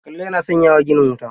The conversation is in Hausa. Kalla yana sanya wa gina wuta.